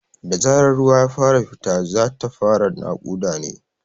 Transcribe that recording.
Da zarar ruwa ya fara fita, za ta fara naƙuda ne.